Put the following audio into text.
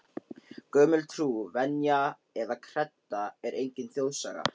Gömul trú, venja eða kredda er engin þjóðsaga.